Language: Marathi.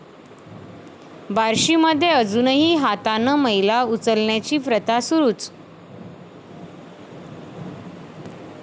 बार्शीमध्ये अजूनही हातानं मैला उचलण्याची प्रथा सुरूच